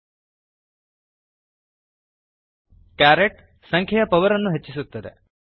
carrot carat ಸಂಖ್ಯೆಯ power ಅನ್ನು ಹೆಚ್ಚಿಸುತ್ತದೆ